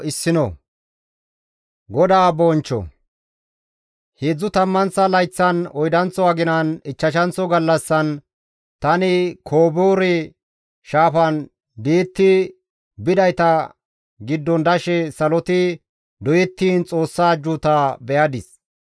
Heedzdzu tammanththa layththan, oydanththo aginan, ichchashanththo gallassan, tani Koboore shaafan di7ettidi bidayta giddon dashe saloti doyettiin Xoossa ajjuuta be7adis.